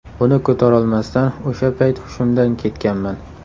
Buni ko‘tarolmasdan o‘sha payt hushimdan ketganman.